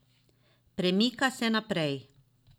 Premika se naprej.